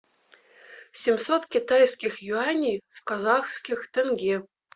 семьсот китайских юаней в казахских тенге